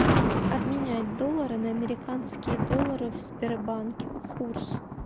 обменять доллары на американские доллары в сбербанке курс